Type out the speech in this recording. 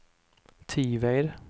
Tived